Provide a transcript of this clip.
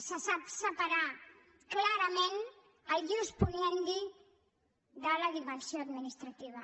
se sap separar clarament l’ius puniendi de la dimensió administrativa